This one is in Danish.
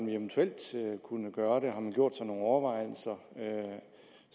vi eventuelt kunne gøre det har man gjort sig nogen overvejelser